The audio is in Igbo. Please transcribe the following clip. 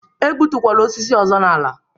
E gbutukwala osisi ọzọ n'ala a!